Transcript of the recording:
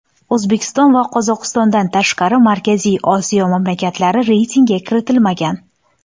O‘zbekiston va Qozog‘istondan tashqari Markaziy Osiyo mamlakatlari reytingga kiritilmagan.